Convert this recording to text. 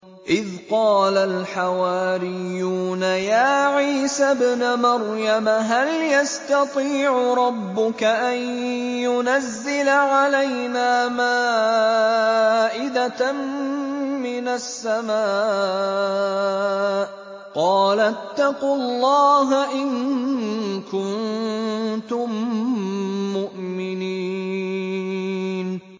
إِذْ قَالَ الْحَوَارِيُّونَ يَا عِيسَى ابْنَ مَرْيَمَ هَلْ يَسْتَطِيعُ رَبُّكَ أَن يُنَزِّلَ عَلَيْنَا مَائِدَةً مِّنَ السَّمَاءِ ۖ قَالَ اتَّقُوا اللَّهَ إِن كُنتُم مُّؤْمِنِينَ